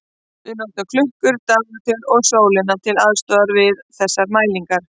Við notum klukkur, dagatöl og sólina til aðstoðar við þessar mælingar.